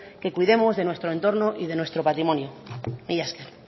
que cuidemos de nuestro entorno y de nuestro patrimonio mila esker